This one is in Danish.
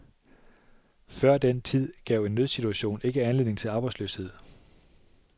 Før den tid gav en nødsituation ikke anledning til arbejdsløshed.